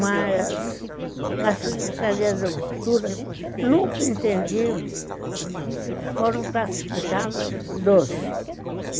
Mas, na Secretaria da Cultura, nunca entendi... Foram classificadas doze.